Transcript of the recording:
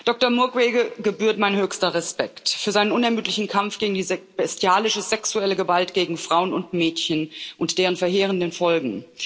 Doktor Mukwege gebührt mein höchster Respekt für seinen unermüdlichen Kampf gegen diese bestialische sexuelle Gewalt gegen Frauen und Mädchen und deren verheerende Folgen.